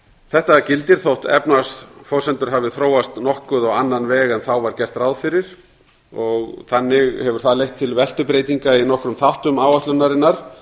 þetta gildir þótt efnahagsforsendur hafi þróast nokkuð á annan veg en þá var gert ráð fyrir og þannig hefur það leitt til veltubreytinga í nokkrum þáttum áætlunarinnar